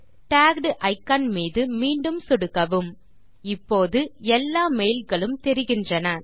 tagged icon மீது மீண்டும் சொடுக்கவும் இப்போது எல்லா மெயில் களும் தெரிகின்றன